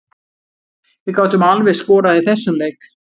Við gátum alveg skorað í þessum leik.